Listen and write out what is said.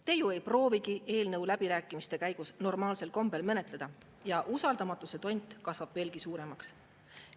Te ju ei proovigi eelnõu läbirääkimiste käigus normaalsel kombel menetleda ja usaldamatuse tont kasvab veelgi suuremaks.